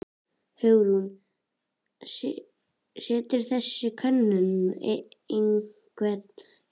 Hugrún: Setur þessi könnun einhvern þrýsting á þig?